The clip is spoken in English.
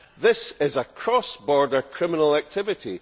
This is a cross border criminal activity.